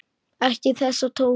Ekki þessa tóna!